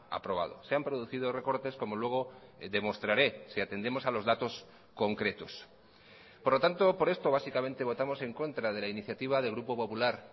aprobado se han producido recortes como luego demostraré si atendemos a los datos concretos por lo tanto por esto básicamente votamos en contra de la iniciativa del grupo popular